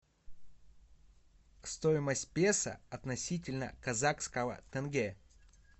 стоимость песо относительно казахского тенге